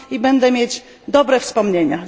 Będę mieć dobre wspomnienia.